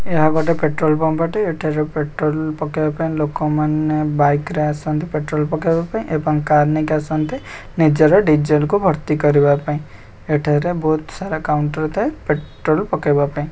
ଏହା ଗୋଟେ petrol pump ଅଟେ ଏଠାରେ ପେଟ୍ରୋଲ ପକେଇବା ପାଇଁ ଲୋକମାନେ ବାଇକରେ ଆସନ୍ତି ପେଟ୍ରୋଲ ପକେଇବା ପାଇଁ ଏବଂ କାର୍ ନେଇକି ଆସନ୍ତି ନିଜର ଡିଜେଲ ଭର୍ତ୍ତି କରିବା ପାଇଁ ଏଠାରେ ବହୁତ୍ ସାରା କାଉଣ୍ଟର ଥାଏ ପେଟ୍ରୋଲ ପକେଇବା ପାଇଁ।